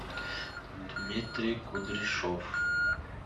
дмитрий кудряшов